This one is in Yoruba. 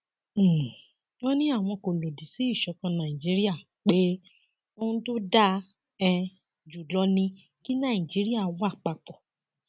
um wọn ní àwọn kò lòdì sí ìṣọkan nàìjíríà pé ohun tó dáa um jù lọ ni kí nàìjíríà wà papọ